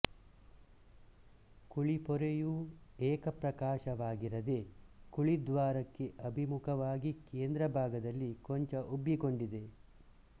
ಕುಳಿಪೊರೆಯೂ ಏಕಪ್ರಕಾಶವಾಗಿರದೆ ಕುಳಿದ್ವಾರಕ್ಕೆ ಅಭಿಮುಖವಾಗಿ ಕೇಂದ್ರ ಭಾಗದಲ್ಲಿ ಕೊಂಚ ಉಬ್ಬಿಕೊಂಡಿದೆ